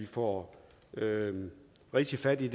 får rigtig fat i